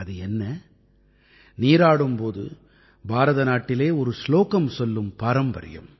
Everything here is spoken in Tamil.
அது என்ன நீராடும் போது பாரத நாட்டிலே ஒரு சுலோகம் சொல்லும் பாரம்பரியம்